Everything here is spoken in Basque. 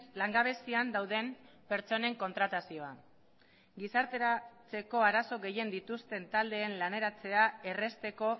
langabezian dauden pertsonen kontratazioa da gizarteratzeko arazo gehien dituzten taldeen laneratzea errazteko